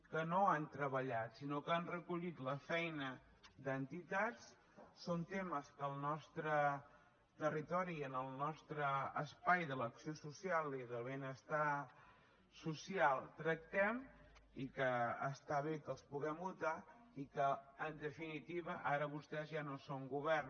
que no han treballat sinó que han recollit la feina d’entitats són temes que al nostre territori i en el nostre espai de l’accés social i del benestar social tractem i que està bé que els puguem votar i que en definitiva ara vostès ja no són govern